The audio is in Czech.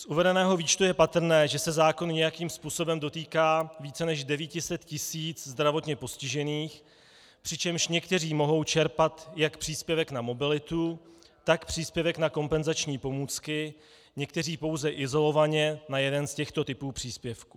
Z uvedeného výčtu je patrné, že se zákon nějakým způsobem dotýká více než 900 tisíc zdravotně postižených, přičemž někteří mohou čerpat jak příspěvek na mobilitu, tak příspěvek na kompenzační pomůcky, někteří pouze izolovaně na jeden z těchto typů příspěvku.